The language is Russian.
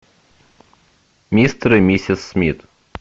мистер и миссис смит